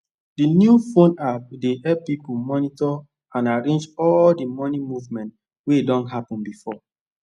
d new phone app dey elp pipu monitor and arrange all d moni movement wey don happen before